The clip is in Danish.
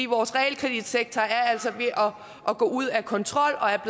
vores realkreditsektor er altså ved at gå ud af kontrol og er